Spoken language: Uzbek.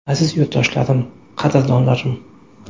Aziz yurtdoshlarim, qadrdonlarim!